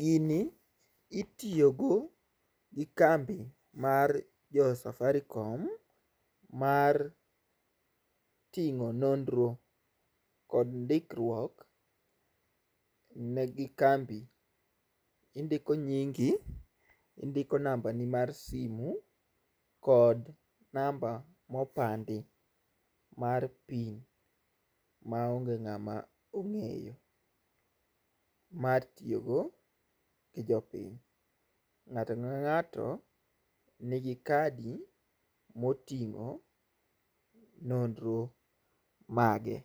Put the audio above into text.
Gini itiyogo gi kambi mar jo Safaricom mar ting'o nonro kod ndikruok ne gi kambi. Indiko nyingi, nambani mar simu kod namba mopandi mar pin maonge ng'ama ong'eyo mar tiyogo gi jopiny. Ng'ato kang'ato nigi kadi moting'o nonro mage